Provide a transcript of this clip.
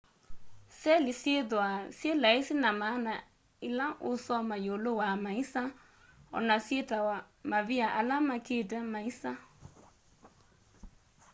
seli syithwaa syi laisi na maana ila uusoma yiulu wa maisa ona syitawa mavia ala makite maisa